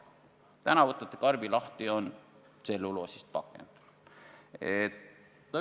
Nüüd võtate karbi lahti, sees on tselluloosist pakend.